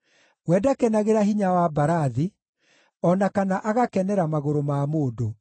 We ndakenagĩra hinya wa mbarathi, o na kana agakenera magũrũ ma mũndũ;